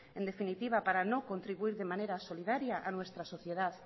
en definitiva para no contribuir de manera solidaria a nuestra sociedad